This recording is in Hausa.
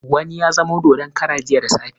Wani ya zama dodon kara jiya da safe.